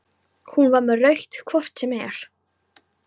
Hún var með rautt hvort sem er.